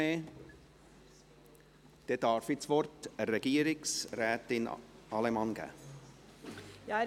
Ich gebe das Wort Regierungsrätin Allemann.